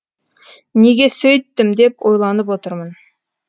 неге сөйттім деп ойланып отырмын